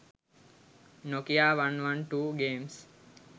nokia 112 games